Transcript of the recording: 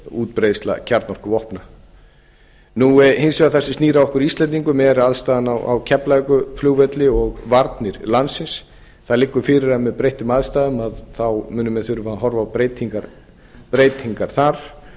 útbreiðsla kjarnorkuvopna hins vegar það sem snýr að okkur íslendingum er aðstaðan á keflavíkurflugvelli og varnir landsins það liggur fyrir að með breyttum aðstæðum munu menn þurfa að horfa á breytingar þar